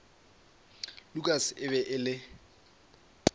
lukas e be e le